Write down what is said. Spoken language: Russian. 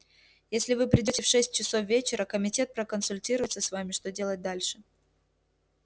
если вы придёте в шесть часов вечера комитет проконсультируется с вами что делать дальше